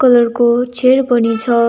Colour को chair पनि छ।